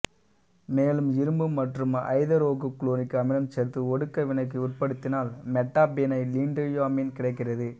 மேலும் இரும்பு மற்றும் ஐதரோகுளோரிக் அமிலம் சேர்த்து ஒடுக்க வினைக்கு உட்படுத்தினால் மெட்டாபீனைலீன்டையமீன் கிடைக்கிறது